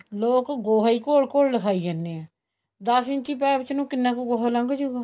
ਲੋਕ ਗੋਆ ਹੀ ਘੋਲ ਘੋਲ ਲਿਗਾਈ ਜਾਂਦੇ ਹੈ ਦੱਸ ਇੰਚੀ pipe ਨੂੰ ਕਿੰਨਾ ਕੁ ਗੋਆ ਲੰਗ ਜਉਗਾ